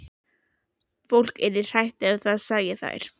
Fólk yrði hrætt ef það sæi þær.